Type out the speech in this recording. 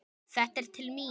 Þetta er til mín!